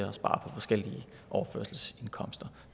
at spare på forskellige overførselsindkomster